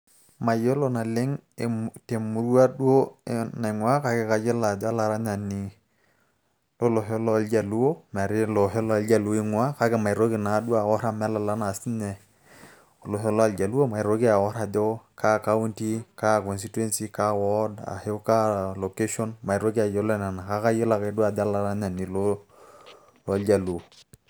Mayiolo naleng' emurua duo naing'ua kake kayiolo ajo olaranyani lolosho loljaluo, metaa ilosho loljaluo eing'ua kake maitoki naduo aor amu elala na sinye olosho loljaluo maitoki aor ajo ka kaunti, ka constituency ,ka ward ,ashu kaa location ,maitoki ayiolo nena. Kake ayiolou ake ajo olaranyani loljaluo.